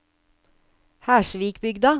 Hersvikbygda